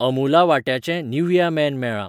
अमूला वांट्याचें निव्हिया मेन मेळ्ळां